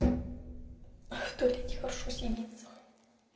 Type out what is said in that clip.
в туалете хорошо сидиться